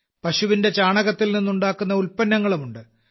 പശുവിന്റെ ചാണകത്തിൽനിന്ന് ഉണ്ടാക്കുന്ന ഉൽപ്പന്നങ്ങളുമുണ്ട്